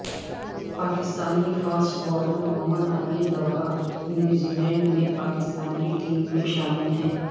Pakistani fast bowler Mohammad Amir دورہ New Zealand میں پاکستان کی ٹیم میں شامل ہیں